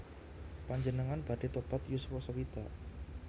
Panjenengan badhe tobat yuswa sewidak?